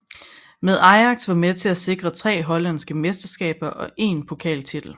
Med Ajax var med til at sikre tre hollandske mesterskaber og én pokaltitel